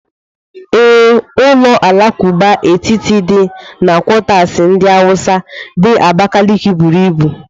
Ee, ụlọ alakụba etiti dị na quatasi ndi Hausa di Abakaliki buru ibu.